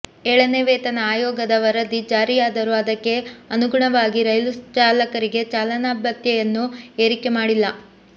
ಏಳನೇ ವೇತನ ಆಯೋಗದ ವರದಿ ಜಾರಿಯಾದರೂ ಅದಕ್ಕೆ ಅನುಗುಣವಾಗಿ ರೈಲು ಚಾಲಕರಿಗೆ ಚಾಲನಾ ಭತ್ಯೆಯನ್ನು ಏರಿಕೆ ಮಾಡಿಲ್ಲ